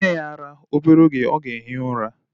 Nye ya ara! Obere oge o ga-ehi ura.